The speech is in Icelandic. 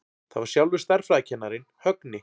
Það var sjálfur stærðfræðikennarinn, Högni.